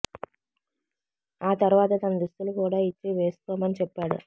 ఆ తర్వాత తన దుస్తులు కూడా ఇచ్చి వేసుకోమని చెప్పాడు